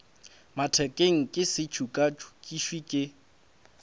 mathekeng ke se tšokatšokišwe ke